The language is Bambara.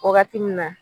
Wagati min na